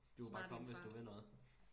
Du kan bare komme hvis du vil noget